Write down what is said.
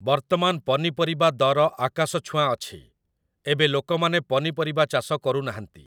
ବର୍ତ୍ତମାନ ପନିପରିବା ଦର ଆକାଶଛୁଆଁ ଅଛି । ଏବେ ଲୋକମାନେ ପନିପରିବା ଚାଷ କରୁନାହାନ୍ତି ।